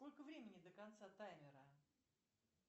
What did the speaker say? сколько времени до конца таймера